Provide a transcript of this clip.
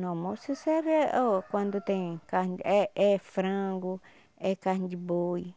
No almoço serve o quando tem carne é é frango, é carne de boi,